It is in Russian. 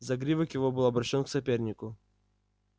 загривок его был обращён к сопернику